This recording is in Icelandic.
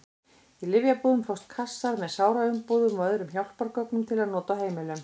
Í lyfjabúðum fást kassar með sáraumbúðum og öðrum hjálpargögnum til nota á heimilum.